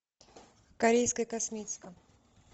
корейская косметика